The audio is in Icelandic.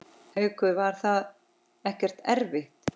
Haukur: Var það ekkert erfitt?